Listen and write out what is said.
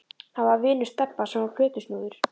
Hann var vinur Stebba sem var plötusnúður.